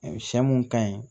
Sɛ mun ka ɲi